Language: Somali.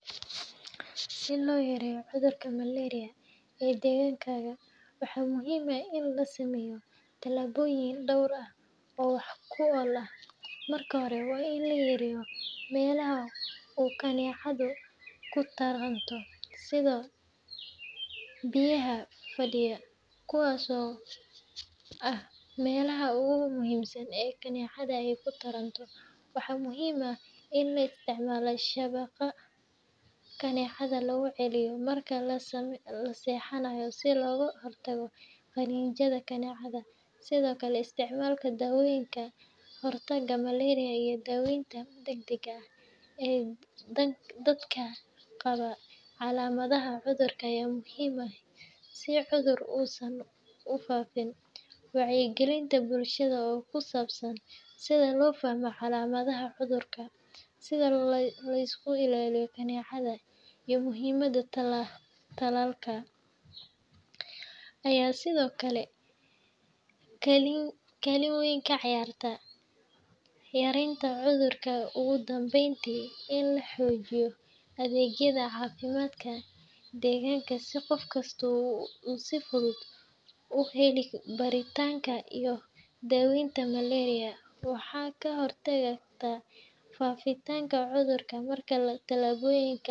Si loyareyo cudhurka malaria ee degankadha, waxa muhim ahh in lasameyo talaboyin dowr ahh oo wax kuola marki hora wainlayareyo melaha oo kanecadha kutaranto sidha biyaha fadiya kuwas oo ahh melaha ugu muhim san ey kinacadhu ey kutaranto, waxa muhim ahh in laisticmalo shabaqa kanecadha laguciliyo marka lasexanayo si logahortago qaninjadha kanecadha, sdhkle isticmalka dawoyinka hortaga malaria ii daweynta dagdaga ahh, dadka qaba calamadhaha cudhurka aya muhim ahh si cudhur usan ufafin, wacyi galinta bulshadha oo kusabsan sidha lofahmo calamadhaha cudhurka, sidha laiskuilaliyo kinacadha iyo muhimada talalka, aya sidhokale kalin weyn kaciyarta yarenta cudhurka ugu danbeyntii in lahojiyo adhegyadha cafimadka deganka si qof kasto uu heli kara baritanka iyo daweynta malaria waxa kahortagi taa fafitanka cudhurka marka talabyinka cudhurka.